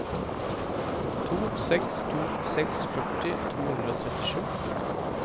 to seks to seks førti to hundre og trettisju